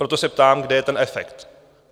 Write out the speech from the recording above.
Proto se ptám, kde je ten efekt?